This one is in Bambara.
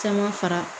Caman fara